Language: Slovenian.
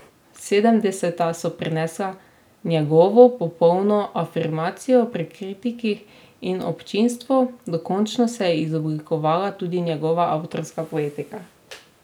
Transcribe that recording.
Sedemdeseta so prinesla njegovo popolno afirmacijo pri kritikih in občinstvu, dokončno se je izoblikovala tudi njegova avtorska poetika.